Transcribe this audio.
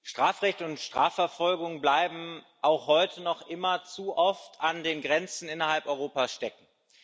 Strafrecht und Strafverfolgung bleiben auch heute noch immer zu oft an den Grenzen innerhalb Europas stecken.